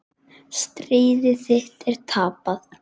Stríð þitt er tapað.